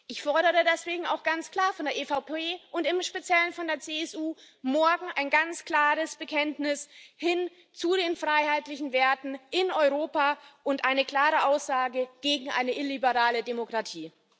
Ich fordere deswegen auch ganz klar von der EVP und im speziellen von der CSU morgen ein ganz klares Bekenntnis hin zu den freiheitlichen Werten in Europa und eine klare Aussage gegen eine illiberale Demokratie.